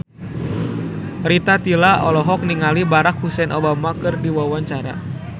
Rita Tila olohok ningali Barack Hussein Obama keur diwawancara